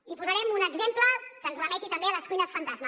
i posarem un exemple que ens remeti també a les cuines fantasma